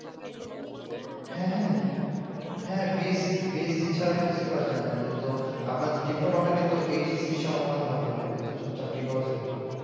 হ্যাঁ হ্যাঁ বিএসসি ছাড়া কিছু করা যায় না এটা তো আপনাদের ডিপ্লোমাটাকে তো HSC সমমান ধরা হয় না হলে তো চাকরি পাওয়া যায় না